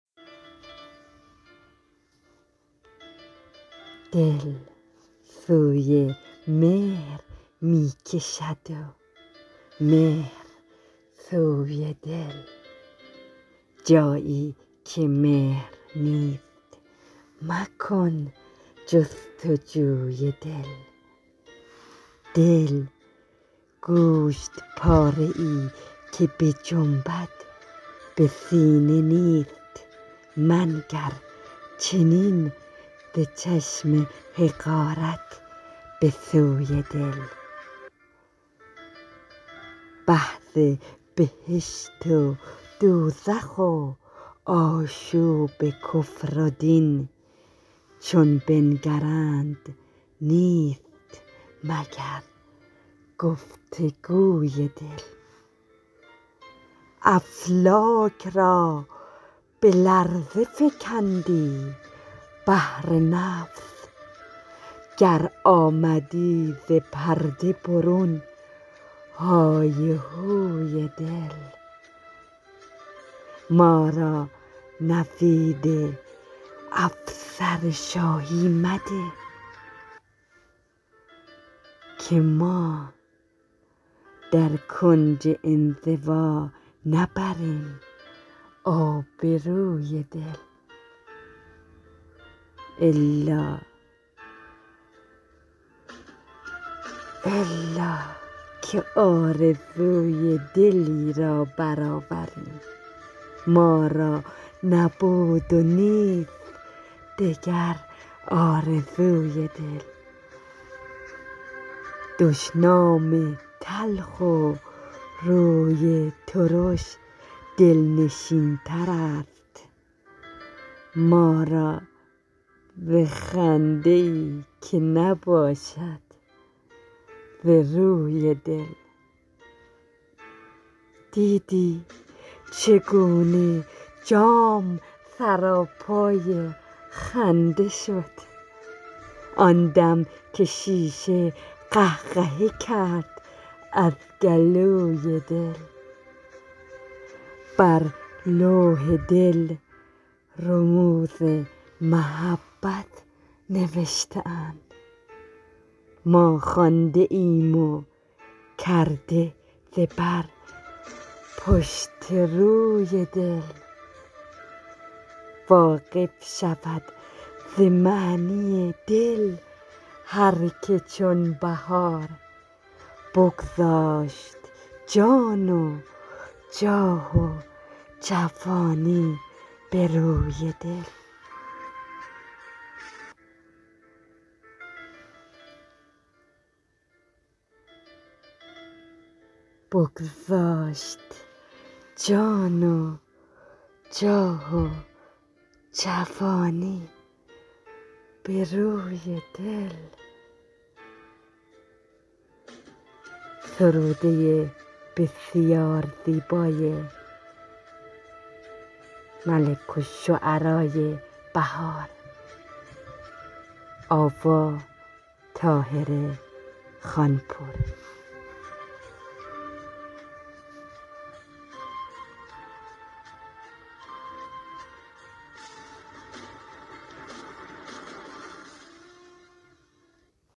دل سوی مهر می کشد و مهر سوی دل جایی که مهر نیست مکن جستجوی دل دل گوشت پاره ای که بجنبد به سینه نیست منگر چنین ز چشم حقارت به سوی دل بحث بهشت و دوزخ و آشوب کفر و دین چون بنگرند نیست مگر گفتگوی دل افلاک را به لرزه فکندی بهر نفس گر آمدی ز پرده برون هایهوی دل ما را نوید افسر شاهی مده که ما در کنج انزوا نبریم آبروی دل الا که آرزوی دلی را برآوریم ما را نبود و نیست دگر آرزوی دل دشنام تلخ و روی ترش دلنشین ترست ما را ز خنده ای که نباشد ز روی دل دیدی چگونه جام سراپای خنده شد آن دم که شیشه قهقهه کرد از گلوی دل بر لوح دل رموز محبت نوشته اند ما خوانده ایم و کرده ز بر پشت و روی دل واقف شود ز معنی دل هرکه چون بهار بگذاشت جان و جاه و جوانی به روی دل